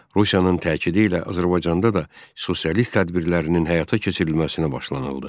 Rusiyanın təqidi ilə Azərbaycanda da sosialist tədbirlərinin həyata keçirilməsinə başlanıldı.